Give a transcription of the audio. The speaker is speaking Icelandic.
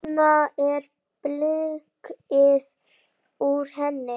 Þarna er blikkið úr henni.